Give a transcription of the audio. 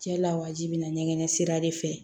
Cɛ lawaji bi na ɲɛgɛn sira de fɛ